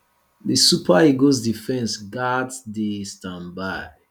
di super eagles defence gatz dey standby